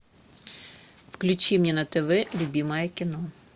включи мне на тв любимое кино